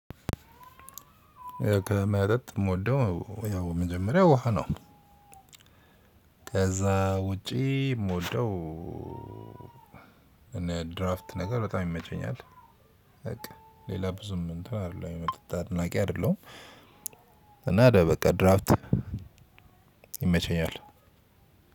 ከመረጥ የምወደው ያው መጀመሪያ ውሃ ነው ከዛ ውጪ የምወደው እኔ ድራፍት ነገር በጣም ይመቸኛል በቃ ሌላ ብዙም እንትን አይደለም የመጠጥ አድናቂ አይደለሁም እና ደበቀ ድራፍት ድራፕት ይመቸኛል።